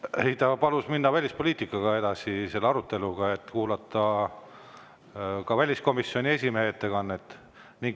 Ei, ta palus minna välispoliitika aruteluga edasi ja kuulata ära ka väliskomisjoni esimehe ettekanne.